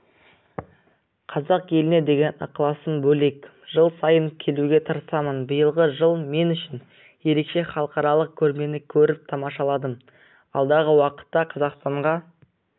қазақ еліне деген ықыласым бөлек жыл сайын келуге тырысамын биылғы жыл мен үшін ерекше халықаралық көрмені көріп тамашаладым алдағы уақытта қазақстанға